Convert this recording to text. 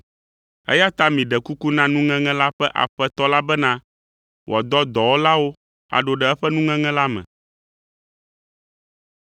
Eya ta miɖe kuku na nuŋeŋe ƒe Aƒetɔ la bena, wòadɔ dɔwɔlawo aɖo ɖe eƒe nuŋeŋe la me.”